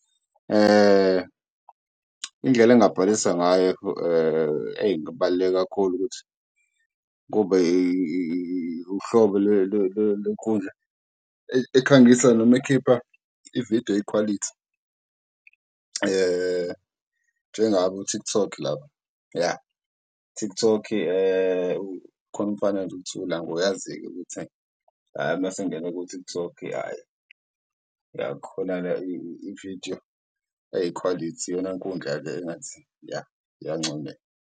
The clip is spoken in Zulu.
Indlela engabhalisa ngayo eyi kungabaluleka kakhulu ukuthi kube uhlobo lwenkundla ekhangisa noma ekhipha ividiyo eyikhwalithi njengaku-TikTok lapha. Ya TikTok uyazi-ke ukuthi, ayi masengingene ku-TikTok ividiyo eyikhwalithi iyona nkundla-ke engathi ya iyancomeka.